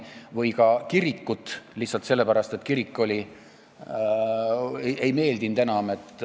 Või ehitatakse kirik lihtsalt sellepärast, et senine kirik ei meeldinud enam.